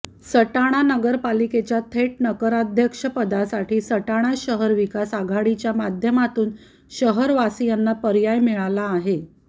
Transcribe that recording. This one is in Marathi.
सटाणा नगरपालिकेच्या थेट नगराध्यक्षपदासाठी सटाणा शहर विकास आघाडीच्या माध्यमातून शहरवासीयांना पर्याय मिळाला आहे